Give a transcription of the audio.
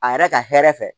A yɛrɛ ka hɛrɛ fɛ